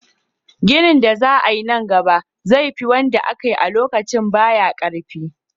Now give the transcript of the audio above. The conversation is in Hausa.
ginin da za ayi nan gaba zai fi wanda akayi a lokacin baya karfi